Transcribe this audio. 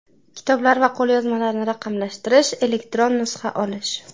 kitoblar va qo‘lyozmalarni raqamlashtirish (elektron nusxa olish).